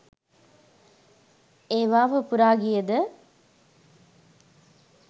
ඒවා පුපුරා ගියද